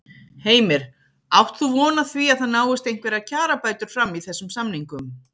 Heimir: Átt þú von á því að það náist einhverjar kjarabætur fram í þessum samningum?